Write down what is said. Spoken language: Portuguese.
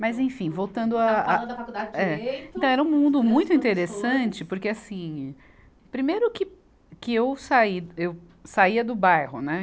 Mas, enfim, voltando a, a. Estava falando da faculdade de direito. Então era um mundo muito interessante, porque, assim, primeiro que, que eu saía, eu saía do bairro, né?